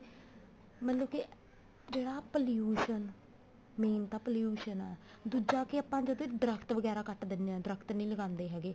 ਮਤਲਬ ਕੇ ਜਿਹੜਾ pollution main ਤਾਂ pollution ਆ ਦੁੱਜਾ ਕੇ ਆਪਾਂ ਦਰਖਤ ਵਗੈਰਾ ਕੱਟ ਦਿੰਦੇ ਹਾਂ ਦਰਖਤ ਨੀ ਲਗਾਉਂਦੇ ਹੈਗੇ